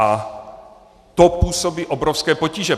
A to působí obrovské potíže.